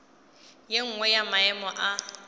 ye nngwe ya maemo a